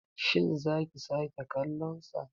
Shin za ki sake kallonsa.